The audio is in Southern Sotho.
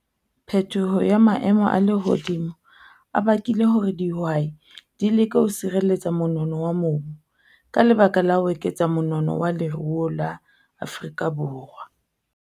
Phetoho ya maemo a lehodimo a bakile hore dihwai di leke ho sireletsa monono wa mobu ka lebaka la ho eketsa monono wa leruo la Afrika Borwa.